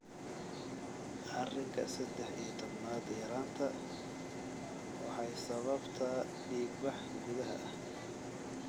arinka sedex iyo tobnaad yaraanta waxay sababtaa dhiigbax gudaha ah.